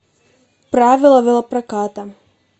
правила велопроката